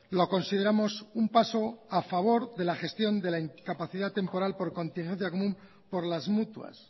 lo consideramos un paso a favor de la gestión de la incapacidad temporal por contingencia común por las mutuas